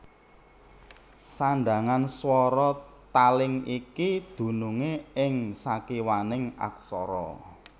Sandhangan swara taling iki dunungé ing sakiwaning aksara